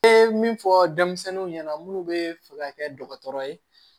E min fɔ denmisɛnninw ɲɛna munnu bɛ fɛ ka kɛ dɔgɔtɔrɔ ye